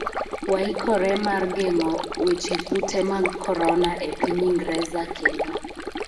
waikore mar geng'e weche kute mag Korona e piny Ingreza kendo